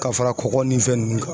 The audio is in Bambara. Ka fara kɔgɔ ni fɛn ninnu kan.